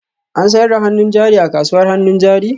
An sayar da hannun jari a kasuwar hannun jari?